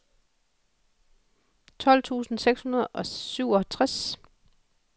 tolv tusind seks hundrede og syvogtres